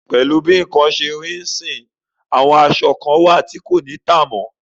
Pẹ̀lú bí nǹkan ṣe rí yìí, àwọn aṣọ kan wà tí kò ní tà mọ́.